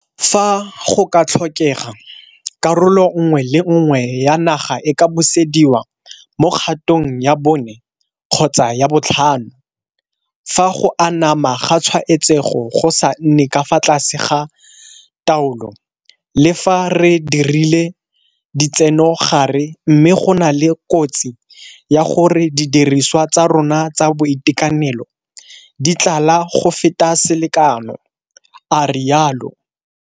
Fa go ka tlhokega, karolo nngwe le nngwe ya naga e ka busediwa mo kgatong ya bone kgotsa ya botlhano fa go anama ga tshwaetsego go sa nne ka fa tlase ga taolo le fa re dirile ditsenogare mme go na le kotsi ya gore didiriswa tsa rona tsa boitekanelo di tlala go feta selekano, a rialo.